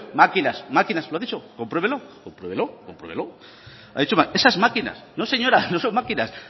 máquinas máquinas lo ha dicho compruébelo compruébelo compruébelo ha dicho esas máquinas no señora no son máquinas